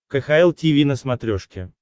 кхл тиви на смотрешке